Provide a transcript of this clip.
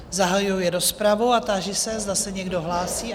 Zahajuji rozpravu a táži se, zda se někdo hlásí?